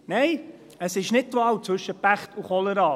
Nein, es ist nicht die Wahl zwischen Pech und Cholera.